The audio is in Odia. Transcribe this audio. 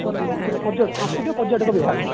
ତରଫ ରୁ ସସ୍କୁତିକ ପର୍ଯ୍ୟଟକ ବିଭାଗ